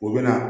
U bɛ na